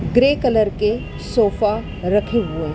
Grey colour के sofa रखे हुए है।